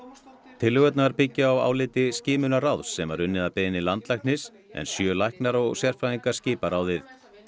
tillögurnar byggjast á áliti Skimunarráðs sem var unnið að beiðni landlæknis en sjö læknar og sérfræðingar skipa ráðið